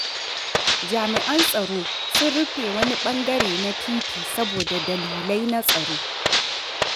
Jami’an tsaro sun rufe wani ɓangare na titi saboda dalilai na tsaro.